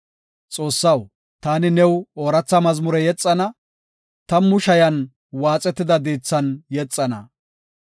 Xoossaw taani new ooratha mazmure yexana; tammu shayan waaxetida diithan yexana.